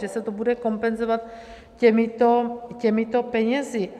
Že se to bude kompenzovat těmito penězi.